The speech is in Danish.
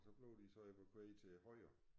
Og så blev de så evakueret til højre